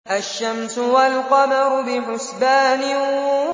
الشَّمْسُ وَالْقَمَرُ بِحُسْبَانٍ